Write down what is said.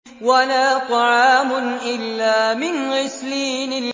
وَلَا طَعَامٌ إِلَّا مِنْ غِسْلِينٍ